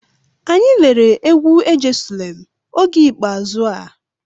Anyị lere egwu"ejesulem" oge ikpeazụ a.